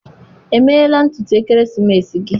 emela ntutu ekeresimesi gị?